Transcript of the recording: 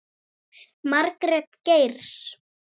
Margrét Geirs.